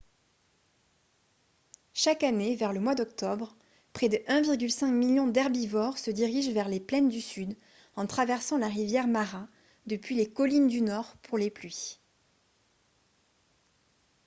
chaque année vers le mois d'octobre près de 1,5 million d'herbivores se dirigent vers les plaines du sud en traversant la rivière mara depuis les collines du nord pour les pluies